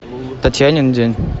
татьянин день